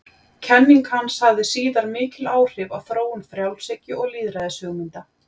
Kenning hans hafði síðar mikil áhrif á þróun frjálshyggju og lýðræðishugmynda.